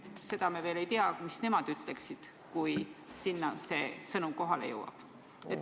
Seda me veel ei tea, mis nemad ütleksid, kui see sõnum sinna kohale jõuab.